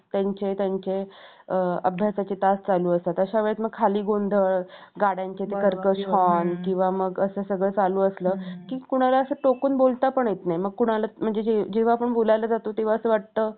असे संत,